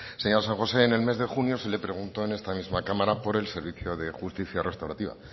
señora san josé en el mes de junio se le preguntó en esta misma cámara por el servicio de justicia restaurativa